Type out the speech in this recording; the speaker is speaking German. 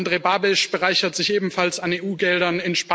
Andrej Babiš bereichert sich ebenfalls an EU Geldern.